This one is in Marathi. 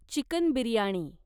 चिकन बिर्याणी